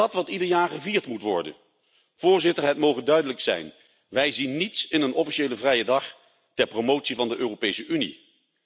Is dat wat ieder jaar gevierd moet worden? Het moge duidelijk zijn, wij zien niets in een officiële vrije dag ter promotie van de Europese Unie.